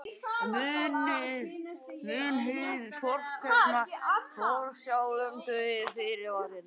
Munið hið fornkveðna: Forsjálum dugir fyrirvarinn.